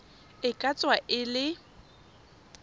e ka tswa e le